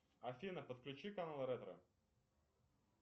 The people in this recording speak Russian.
афина подключи канал ретро